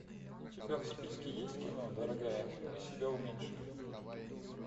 у тебя в списке есть кино дорогая мы себя уменьшили